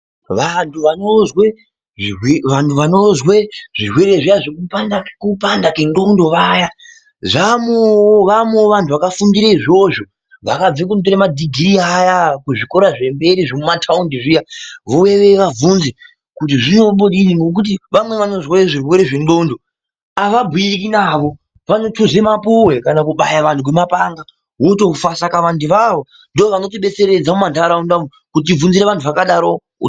Vantu vanozwe zvirwere zviya zvekupanda kwenxondo vaya vaamowo vantu vakafundire izvozvo vakabve kotora madhigirii aya kuzvikora zvemberi zvemumataundi zviya vouya vavhunze kuti zvinombodii vamweni vanozwe zvirwere zvenxondo havabhuyiki navo vanotuze mapuwe kana kubaya vantu ngemapanga otofa saka vantu avavo ndovanotidetseredza mumandaramwu kutibvunzire vantu vakadaro.